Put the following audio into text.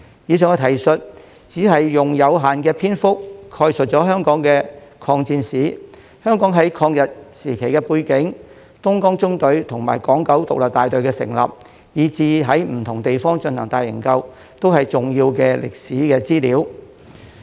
以上的提述只是用有限的篇幅概述香港的抗戰史、香港在抗日時期的背景、東江縱隊與港九獨立大隊的成立，以至在不同地方進行的大營救，都是重要的歷史資料。